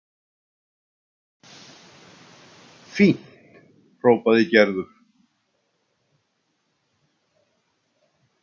Fínt hrópaði Gerður.